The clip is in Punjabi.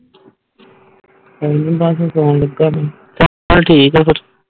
ਸਾਈ ਬਸ ਸੋਂ ਲਗੇ ਜੇ ਚਾਲ ਠੀਕ ਫਿਰ